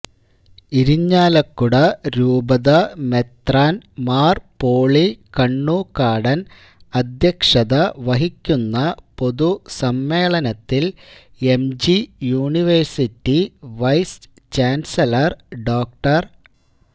ഇരിങ്ങാലക്കുട രൂപത മെത്രാൻ മാർ പോളി കണ്ണൂക്കാടൻ അദ്ധ്യക്ഷത വഹിക്കുന്ന പൊതുസമ്മേളനത്തിൽ M G university vice chancellor ഡോ